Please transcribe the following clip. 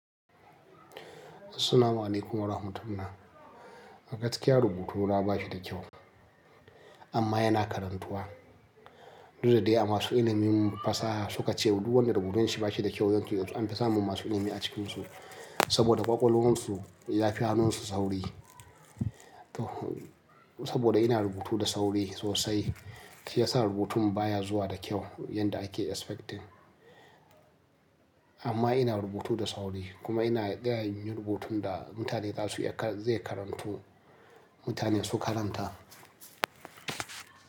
Assalamu alaikum wa rahmatullah. A gaskiya rubutuna ba shi da kyau amma yana karantuwa. Duk da dai a masu ilimin fasaha suka ce duk wanda rubutun shi ba shi da kyau yanzu yanzu an fi samun masu ilimi a cikinsu saboda kwakwalwarsu ya fi hannunsu sauri. Saboda ina rubutu da sauri sosai shi yasa rubutun baya zuwa da kyau yadda ake expecting. Amma ina rubutu da sauri kuma ina iya yin rubutun da mutane za su iya zai karantu mutane su karanta.